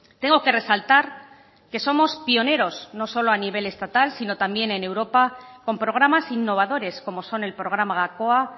tengo que resaltar que somos pioneros no solo a nivel estatal sino también en europa con programas innovadores como son el programa gakoa